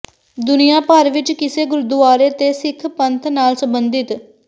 ਦੁਨੀਆ ਭਰ ਵਿੱਚ ਕਿਸੇ ਗੁਰਦੁਆਰੇ ਤੇ ਸਿੱਖ ਪੰਥ ਨਾਲ ਸਬੰਧਤ